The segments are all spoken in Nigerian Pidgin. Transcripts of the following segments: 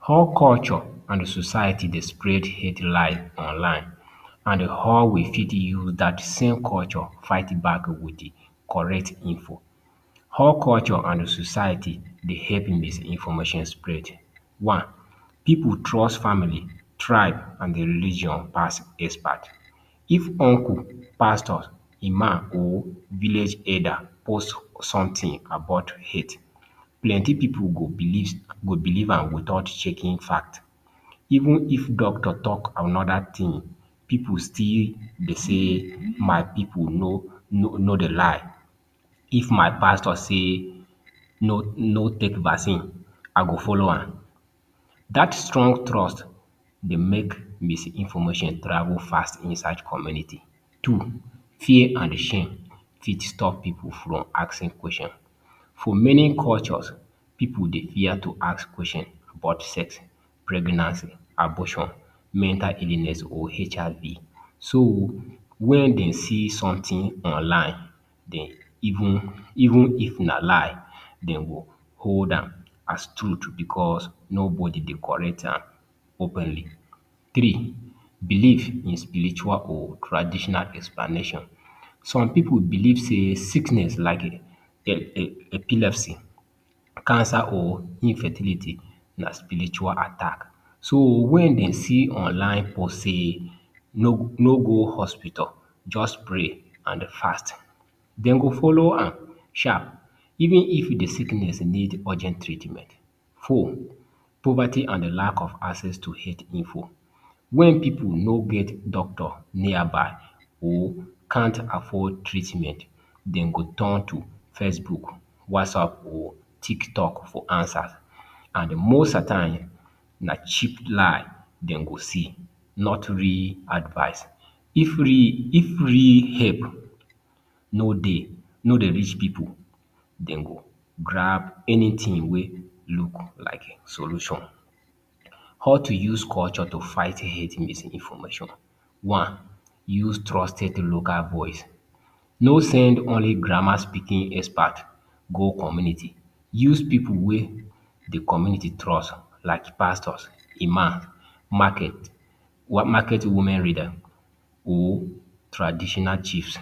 How culture an society dey spread health lie online and how we fit use dat same culture fight back with correct info? How culture and society dey help misinformation spread? One. Pipu trust family, tribe, an religion pass expert: If uncle, Pastors, Imam, or village elder post something about health, plenty pipu go go believe am without checking fact. Even if doctor talk another tin, pipu still be sey my pipu no no dey lie. If my Pastor say no no take vaccine, I go follow am. Dat strong trust dey make misinformation travel fast inside community. Two. Fear and shame fit stop pipu from asking question: For many cultures, pipu dey fear to ask question about sex, pregnancy, abortion, mental illness, or HIB. So, wen den see something online, den even even if na lie, den go hold am as truth becos nobody dey correct am openly. Three. Belief in spiritual or traditional explanation: Some pipu believe sey sickness like epilepsy, cancer, or infertility na spiritual attack. So, wen den see online post sey no no go hospital, juz pray an fast, den go follow am sharp even if the sickness need urgent treatment. Four. Poverty an lack of access to health info: Wen pipu no get doctor nearby or can't afford treatment, den go turn to Facebook, WhatsApp, or TikTok for answer. And most at time, na cheap lie den go see, not real advice. If real if real help no dey no dey reach pipu, den go grab anything wey look like solution. How to use culture to fight health misinformation: One. Use trusted local voice: No send only grammar-speaking expert go community, use pipu wey the community trust like Pastors, Imam, market market women reader or traditional chiefs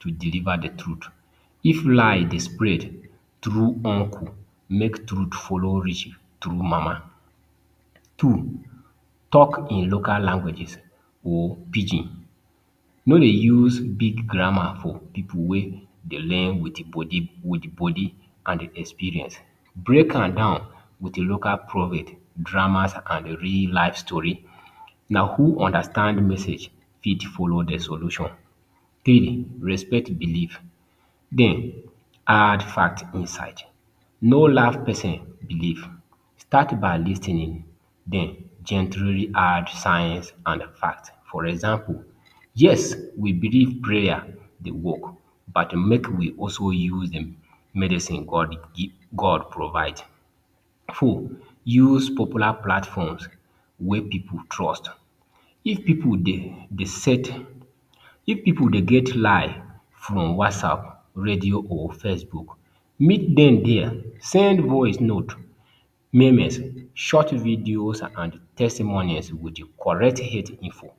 to deliver the truth. If lie dey spread through uncle, make truth follow reach through mama. Two. Talk in local languages or Pidgin: No dey use big grammar for pipu wey dey learn with body with body and experience. Break am down with local dramas, an real life story. Na who understand message fit follow the solution. Three. Respect belief, then add fact inside: No laf pesin belief. Start by lis ten ing, then gently add science and fact. For example: Yes, we believe prayer dey work, but make we also use the medicine God God provide. Four. Use popular platforms wey pipu trust: If pipu dey dey set if pipu dey get lie from WhatsApp, Radio or Facebook, meet dem there. Send voice note, memes, short videos, an testimonies with correct health info.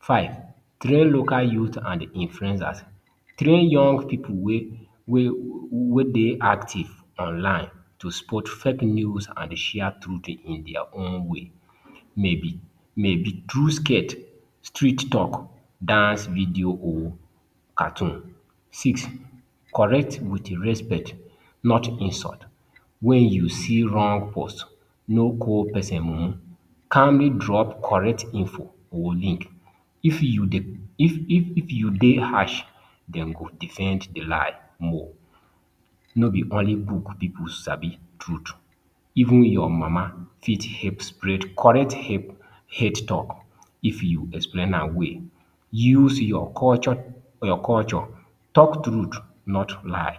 Five. Train local youth and influencers: Train young pipu wey wey wey dey active online to spot fake news an share truth in dia own way. Maybe maybe through skit, street talk, dance video, or cartoon. Six. Correct with respect, not insult: Wen you see wrong post, no call pesin mumu. Calmly drop correct info or link. If you dey if if if you dey harsh, den go defend the lie more. No be only book pipu sabi truth. Even your mama fit help spread correct help health talk if you explain am well. Use your culture your culture talk truth not lie.